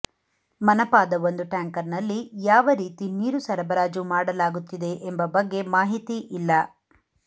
ಮನಪಾದ ಒಂದು ಟ್ಯಾಂಕರ್ನಲ್ಲಿ ಯಾವ ರೀತಿ ನೀರು ಸರಬರಾಜು ಮಾಡಲಾಗುತ್ತಿದೆ ಎಂಬ ಬಗ್ಗೆ ಮಾಹಿತಿ ಇಲ್ಲ